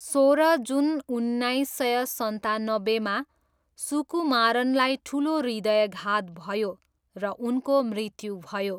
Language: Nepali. सोह्र जुन उन्नाइस सय सन्तानब्बेमा, सुकुमारनलाई ठुलो हृदयाघात भयो र उनको मृत्यु भयो।